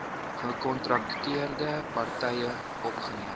gekontrakteerde partye opgeneem